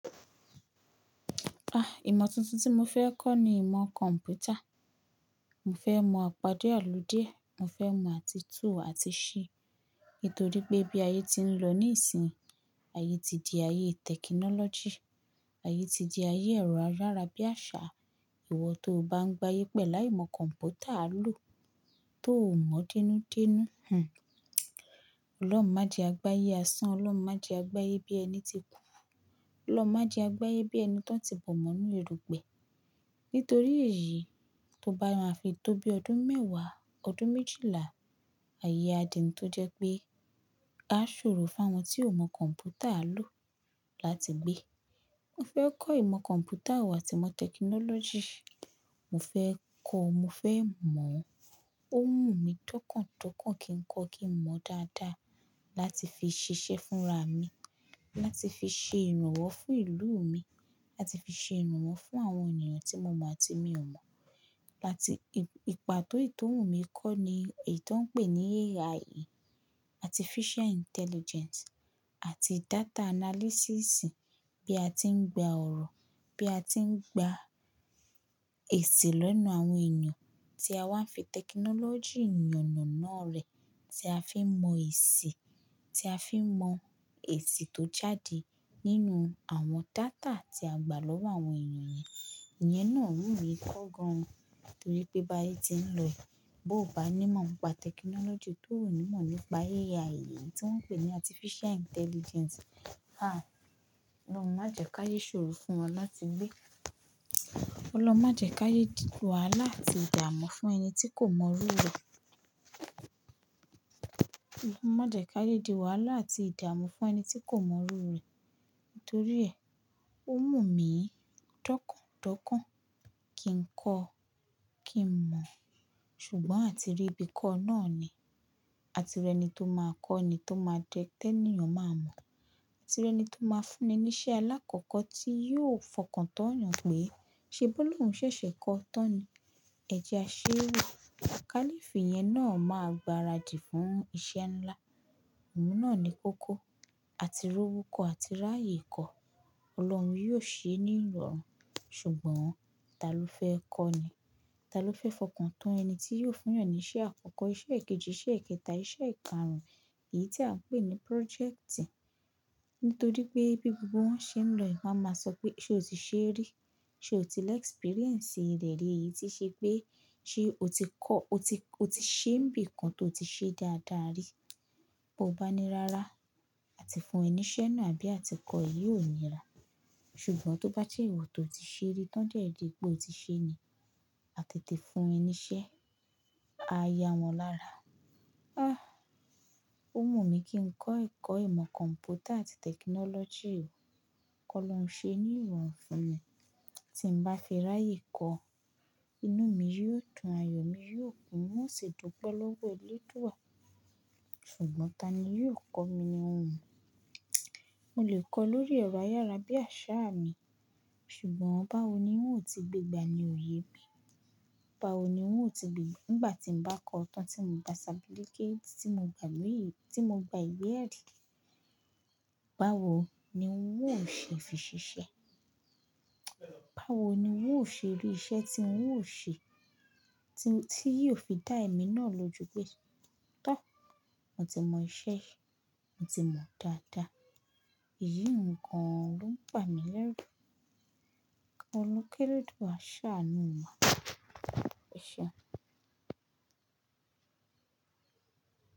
Ah, ìmọ̀ tuntun tí mo fẹ́ kọ́ ni ìmọ̀ kọ̀m̀pútà. Mo fẹ́ mọ àpádé àlùdíẹ̀, mo fẹ́ mọ àti tu àti ṣi. Nítorí pé bí ayé ti ń rọ níìsín, ayé ti di ayé technology, ayé ti di ayé ẹ̀rọ arára bí àṣá. Ìwọ tó bá ń gba ayé pẹ̀lú aimọ̀ kọ̀m̀pútà á lò tó ò mọ̀ dínúdínú. Hhm. Ọlọ́run má jẹ gba ayé asán, Ọlọ́run má jẹ gba ayé bí ẹni ti kù, Ọlọ́run má jẹ gba ayé bí ẹni tó ti bọ̀ mọ́ inú erùgbẹ. Nítorí èyí, tó bá máa fi tó bí ọdún mẹ́wàá, ọdún méjìlá, ayé á di tó jẹ́ pé á ṣòro fún àwọn tí ò mọ̀ kọ̀m̀pútà á lò láti gbé. Mo fẹ́ kọ́ ìmọ̀ kọ̀m̀pútà wò àti ìmọ̀ technology. Mo fẹ́ kọ́, mo fẹ́ mọ̀. Ó wù mí dọ́kàn dọ́kàn kí n kọ́ kí n mọ̀ dáadáa láti fi ṣiṣẹ́ fúnra mi, láti fi ṣe ìrànwọ́ fún ìlú mi, láti fi ṣe ìrànwọ́ fún àwọn ènìyàn tí mo mọ̀ àti mi ò mọ̀. Láti, ìpàtó ìtóhùn mi kọ́ ni èyí tó ń pè ní AI, Artificial Intelligence àti Data Analysis. Bí a ti ń gba ọ̀rọ̀, bí a ti ń gba èsì lọ́nà àwọn ènìyàn tí a máa ń fi technology ìyànà náà rẹ, tí a fi mọ èsì, tí a fi mọ èsì tó jáde nínú àwọn data tí a gbà lọ́wọ́ àwọn ènìyàn yẹn. Ìyẹn náà wù mí ko gan oo torí pé bá ayé ti ń lọyi, bó bá ní mọ̀ ìmọ̀ pa technology tó ò ní mọ̀ nípa AI tí wọ́n ń pè ní Artificial Intelligence. Ah, Ọlọ́run má jẹ ka yé ṣòro fún wa láti gbé. Ọlọ́run má jẹ ka yé di wàhálà àti ìdààmú fún ẹni tí kò mọrú rẹ̀. Ọlọ́run má jẹ ka yé di wàhálà àti ìdààmú fún ẹni tí kò mọrú rẹ̀. Nítorí ẹ, ó wù mí dọ́kàn dọ́kàn kí n kọ́ kí n mọ̀. Ṣùgbọ́n àti rí ibi kọ́ náà ni, àti rí ẹni tó máa kọ́ ni tó máa jẹ́ tí ẹniyan ọ̀ máa mọ̀. Àti rí ẹni tó máa fún ni iṣẹ́ alákọ̀ọ́kọ́ tí yóò fọkàn tán yàn pé, "Ṣé Bólú ń ṣẹ̀ṣẹ̀ kọ́ ọ tán ni? Ẹ jẹ aṣé wò." Kálífì yẹn náà máa gbaradì fún iṣẹ́ ńlá. Òun náà ni kó kó. Àti rí owó kọ́, àti rí ààyè kọ́. Ọlọ́run yóò ṣe é ní ìrọ̀rùn. Ṣùgbọ́n ta ló fẹ́ kọ́ ni? Ta ló fẹ́ fọkàn tán ẹni tí yóò fún yàn ní iṣẹ́ àkọ́kọ́, iṣẹ́ èkejì, iṣẹ́ èkẹta, iṣẹ́ ìkarùn-ún, èyí tí a ń pè ní project? Nítorí pé bí gbogbo wọn ṣe ń lọ, wọn á máa sọ pé, "Ṣé o ti ṣe rí? Ṣé o ti lẹ experience rẹ̀ rí yìí tí ṣe pé, ṣe o ti kọ́, o ti, o ti ṣe ń bí nǹkan tó ti ṣe dáadáa rí?" Bo bá ní rárá, a ti fún ẹ níṣẹ́ náà bí à ti kọ́ ẹ̀, yí ò ní rà. Ṣùgbọ́n tó bá jẹ́ ìwọ tó ti ṣe rí tán jẹ́ ẹ jẹ́ pé o ti ṣe ni, a tètè fún ẹ níṣẹ́. A yá wọn lára. Ah, ó wù mí kí n kọ́ ẹ̀kọ́ ìmọ̀ kọ̀m̀pútà àti technology o. Kọ́ lọ́ ń ṣe é ní ìrọ̀rùn fún mi. Tí n bá fi ráàyè kọ́, inú mi yóò dún, ayọ̀ mi yóò kún, un ó sì dúnpẹ́ lọ́wọ́ eléèdú wà. Ṣùgbọ́n ta ni yóò kọ́ mi ni òun? Mo lè kọ́ lórí ẹ̀rọ ayára bí àṣá mi, ṣùgbọ́n báwo ni wọ́n ó ti gbégbá ni òye mi? Báwo ni wọ́n ó ti gbè, nígbà tí n bá kọ́ ọ tán tí mo gba certificate tí mo gba lẹ́yìn, tí mo gba ìwe ẹ̀rí. Báwo ni wọ́n ó ṣe fi ṣiṣẹ́? Báwo ni wọ́n ó ṣe rí iṣẹ́ tí wọ́n ó ṣe, tí, tí yóò fi dá èmi náà lójú pé, "Tọ́, mo ti mọ iṣẹ́ yìí, mo ti mọ̀ dáadáa." Èyí ń kan lòun ń ba mi lẹ́rù. Afi keleduwa sáà nu wa, àṣá ni ó máa. Ṣé.